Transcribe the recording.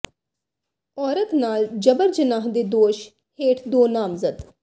ਔਰਤ ਨਾਲ ਜਬਰ ਜਨਾਹ ਦੇ ਦੋਸ਼ ਹੇਠ ਦੋ ਨਾਮਜ਼ਦ